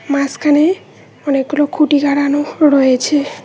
মাসখানে অনেকগুলো খুঁটি লাগানো রয়েছে।